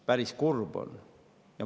Päris kurb on.